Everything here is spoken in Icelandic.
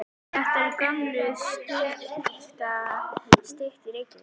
Þetta er gömul stytta. Styttan er í Reykjavík.